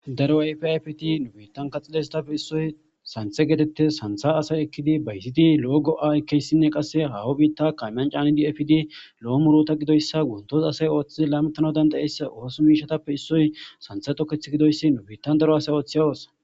daro ayfe ayfti nu biittan kaxxileyssatappe issoy santhe gedette santha asay ekkidi bayzidi lo7o go7a ekkeyssinne qasse hawo biitta kamyan caani di fidi lo7o murota gidoyssa guntosa asay ooththi laamitano dandayeyssa oosu miishatappe issoy santhe toketh gidoyssi nubiittan daro asay ooththi ha oossa